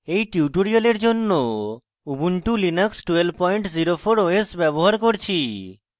এই tutorial জন্য ubuntu linux 1204 os ব্যবহার করছি